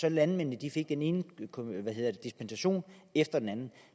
at landmændene fik den ene dispensation efter den anden